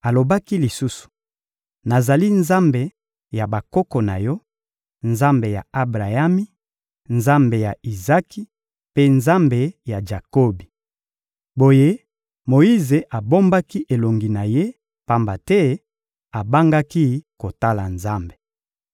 Alobaki lisusu: — Nazali Nzambe ya bakoko na yo, Nzambe ya Abrayami, Nzambe ya Izaki, mpe Nzambe ya Jakobi. Boye Moyize abombaki elongi na ye, pamba te abangaki kotala Nzambe.